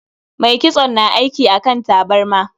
Mai kitson na aiki akan tabarma.